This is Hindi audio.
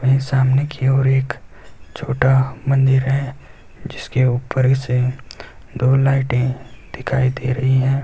एक सामने की ओर एक छोटा मंदिर है जिसके ऊपर इसे दो लाइटे दिखाई दे रही है।